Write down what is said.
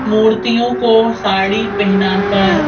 मूर्तियों को साड़ी पहनाकर--